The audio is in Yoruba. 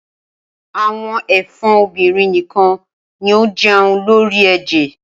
Awọn ẹ̀fọn obinrin nikan ni o jẹun lori ẹjẹ.